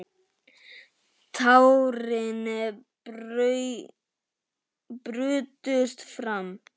Tárin brutust fram.